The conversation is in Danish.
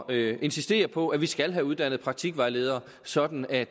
at insistere på at vi skal have uddannet praktikvejledere sådan at